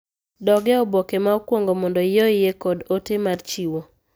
Dog e oboke ma okwongo mondo iyoie kod ote mar chiwo